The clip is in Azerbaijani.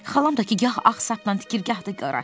Xalam da ki, gah ağ sapla tikir, gah da qara.